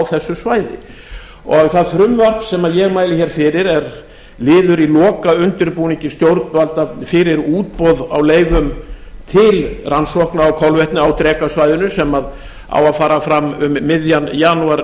þessu svæði það frumvarp sem ég mæli hér fyrir er liður í lokaundirbúningi stjórnvalda fyrir útboð á leyfum til rannsókna á kolvetni á drekasvæðinu sem á að fara fram um miðjan janúar